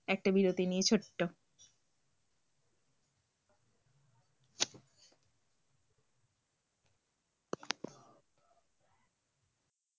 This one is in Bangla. একটা বিরতি নিয়ে ছোট্ট